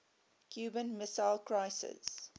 cuban missile crisis